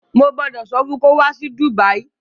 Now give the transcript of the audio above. Mo gbọ́dọ̀ sọ fun kó wá sí Dùbàyí